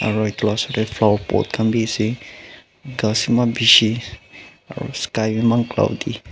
aro etu la osor de flower pot kan b ase kas eman bishi aro sky b eman cloudy .